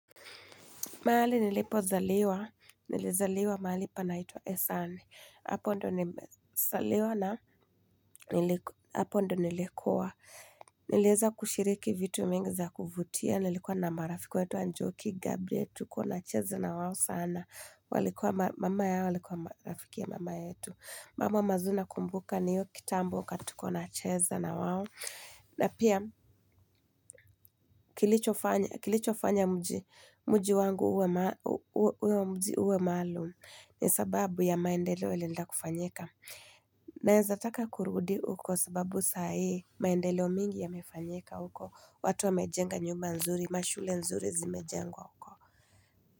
Mahali nilipozaliwa. Nilizaliwa mahali panaitwa Esame. Hapo ndo nilikua. Nilieza kushiriki vitu mingi za kuvutia. Nilikuwa na marafiki waitwa njoki Gabriel. Tulikuwa tunacheza na wao sana. Walikuwa mama yao. Walikuwa marafiki ya mama yetu. Mambo mazuri nakumbuka ni hiyo kitambo wakati tulikuwa tunacheza na wao. Na pia kilichofanya mji wangu uwe mji maalum ni sababu ya maendeleo ilienda kufanyika. Naeza taka kurudi huko sababu sa hii maendeleo mengi yamefanyika huko. Watu wame jenga nyumba nzuri, mashule nzuri zimejengwa huko.